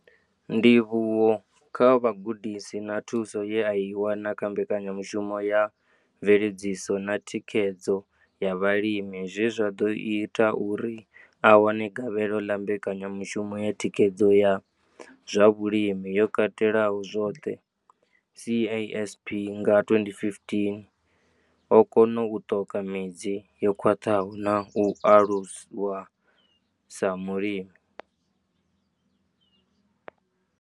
Ndivhuwo kha vhugudisi na thuso ye a i wana kha mbekanyamushumo ya mveledziso na thikhedzo ya vhalimi zwe zwa ḓo ita uri a wane gavhelo ḽa mbekanyamushumo ya thikhedzo ya zwa vhulimi yo katelaho zwoṱhe CASP nga 2015, o kona u ṱoka midzi yo khwaṱhaho na u aluwa sa mulimi.